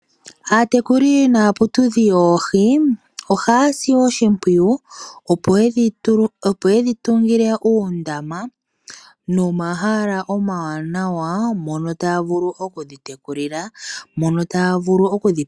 Aatekuli naaputudhi yoohi ohaya si oshimpwiyu opo yedhi tungile uundama nomahala omawanawa mono taya vulu oku dhi tekulila